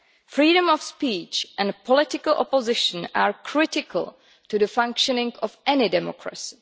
Freedom of speech and political opposition are critical to the functioning of any democracy.